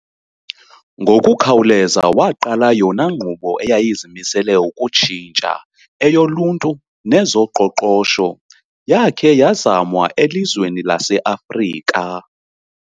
Ngokukhawuleza waqala yona nkqubo eyeyizimisele ukutshintsha eyoluntu nezo qoqosho yake yazamwa elizweni lase Africa.